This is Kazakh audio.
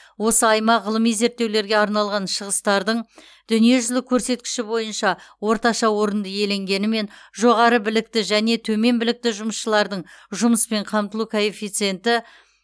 осы аймақ ғылыми зерттеулерге арналған шығыстардың дүниежүзілік көрсеткіші бойынша орташа орынды иеленгенімен жоғары білікті және төмен білікті жұмысшылардың жұмыспен қамтылу коэффициенті